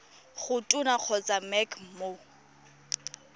go tona kgotsa mec mo